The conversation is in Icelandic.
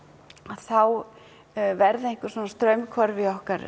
þá verða einhver svona straumhvörf í okkar